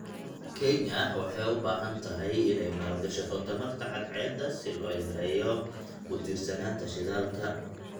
Kenya waxay u baahan tahay inay maalgashato tamarta cadceedda si loo yareeyo ku tiirsanaanta shidaalka.